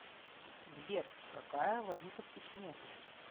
сбер какая валюта в чечне